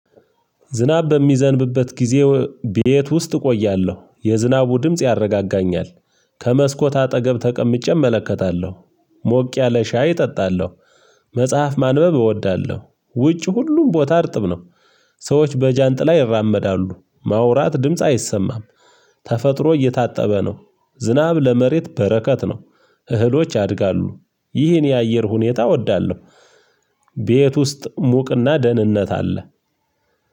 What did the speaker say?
ዝናብ በሚዘንብበት ጊዜ ቤት ውስጥ እቆያለሁ የዝናቡ ድምጽ ያረጋጋኛል ከመስኮት አጠገብ ተቀምጬ እመለከታለሁ። ሞቅ ያለ ሻይ እጠጣለሁ። መጽሐፍ ማንበብ እወዳለሁ ውጪ ሁሉም ቦታ እርጥብ ነው። ሰዎች በጃንጥላ ይራመዳሉ ማውራት ድምጽ አይሰማም። ተፈጥሮ እየታጠበ ነው። ዝናብ ለመሬት በረከት ነው። እህሎች ያድጋሉ ይህን የአየር ሁኔታ እወዳለሁ። ቤት ውስጥ ሙቅና ደህንነት አለ።